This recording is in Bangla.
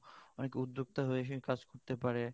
অনেক উদ্যোক্তা হয়েও কাজ করতে পারে